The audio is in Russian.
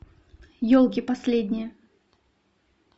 елки последние